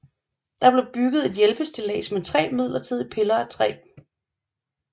Der blev bygget et hjælpestillads med tre midlertidige piller af træ